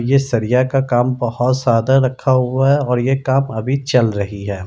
ये सरिया का काम बहुत सारा रखा हुआ है और ये काम अभी चल रही है।